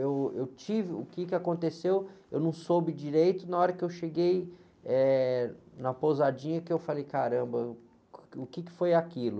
eu, eu tive, o quê que aconteceu, eu não soube direito, na hora que eu cheguei, eh, na pousadinha, que eu falei, caramba, eu, o quê que foi aquilo?